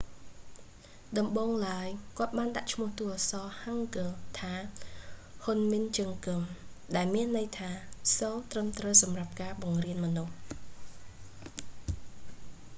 ដំបូងឡើយ គាត់បានដាក់ឈ្មោះតួអក្សរ ហាំងហ្គឹល hangeul ថា ហ៊ុនមិន ជឹងហ្គឹម hunmin jeongeum ដែលមានន័យថា សូរត្រឹមត្រូវសម្រាប់ការបង្រៀនមនុស្ស